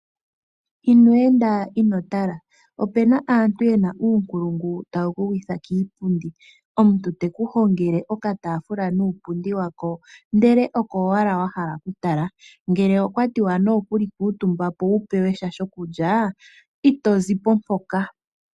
Ino enda ino tala. Ope na aantu ye na uunkulungu tawu ku gwitha kiipundi. Omuntu te ku hongele okataafula nuupundi wa ko ndele oko owala wa hala okutala. Ngele okwa tiwa nokuli kuutumba po wu pewe sha shokulya ito zipo mpoka.